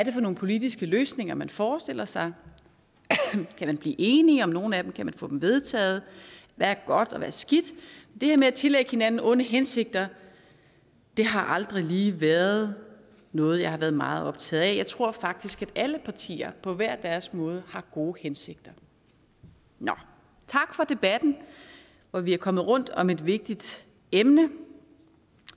er for nogle politiske løsninger man forestiller sig kan vi blive enige om nogle af dem kan man få dem vedtaget hvad er godt og hvad er skidt det med at tillægge hinanden onde hensigter har aldrig været noget jeg er meget optaget af jeg tror faktisk at alle partier på hver deres måde har gode hensigter nå tak for debatten hvor vi er kommet rundt om et vigtigt emne